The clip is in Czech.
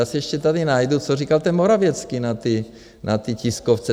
Já si ještě tady najdu, co říkal ten Morawiecki na té tiskovce.